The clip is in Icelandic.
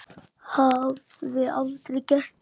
Hafði aldrei gert það.